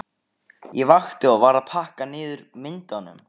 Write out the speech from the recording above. Ég vakti og var að pakka niður myndunum.